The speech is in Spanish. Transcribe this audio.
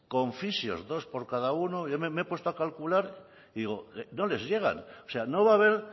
con fisios dos por cada uno me he puesto a calcular y digo no les llegan o sea no va a haber